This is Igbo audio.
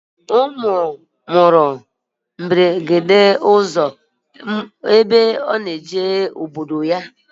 Ọ nwụrụ na mberede okporo ụzọ oge ọ na-eje obodo ya